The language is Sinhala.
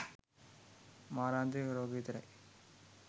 මාරාන්තික රෝග විතරයි.